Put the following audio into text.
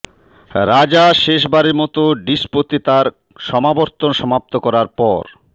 রাজা শেষবারের মত ডিসপোতে তার সমাবর্তন সমাপ্ত করার পর